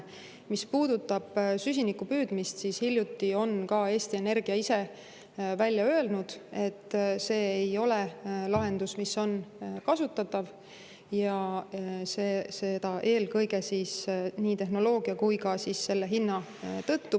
Mis puudutab süsiniku püüdmist, siis hiljuti on ka Eesti Energia ise välja öelnud, et see ei ole lahendus, mis on kasutatav, ja seda eelkõige nii tehnoloogia kui ka selle hinna tõttu.